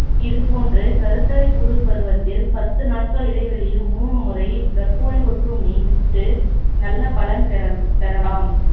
இது போன்று கருததலைப்புழு பருவத்தில் பத்து நாட்கள் இடைவெளியில் மூணு முறை பிரக்கோனிட் ஒட்டுண்ணி விட்டு நல்ல பலன் பெற~ பெறலாம்